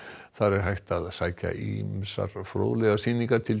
þar er hægt að sækja ýmsar fróðlegar sýningar til